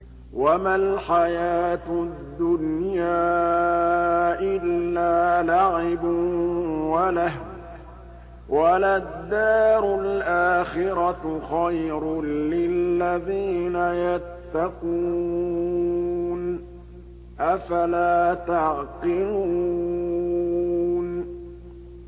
وَمَا الْحَيَاةُ الدُّنْيَا إِلَّا لَعِبٌ وَلَهْوٌ ۖ وَلَلدَّارُ الْآخِرَةُ خَيْرٌ لِّلَّذِينَ يَتَّقُونَ ۗ أَفَلَا تَعْقِلُونَ